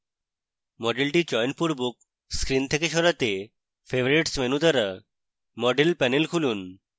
মডেলটি চয়নপূর্বক screen থেকে সরাতে favorites menu দ্বারা model panel খুলুন